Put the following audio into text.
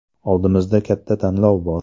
Oldimizda katta tanlov bor.